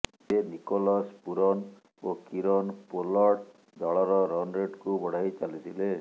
ତେବେ Nicholas Pooran ଓ Kieron Pollard ଦଳର ରନ୍ ରେଟକୁ ବଢାଇ ଚାଲିଥିଲେ